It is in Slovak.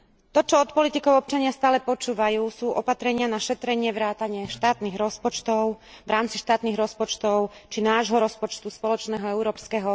To, čo od politikov občania stále počúvajú, sú opatrenia na šetrenie vrátane štátnych rozpočtov, v rámci štátnych rozpočtov či nášho rozpočtu spoločného európskeho.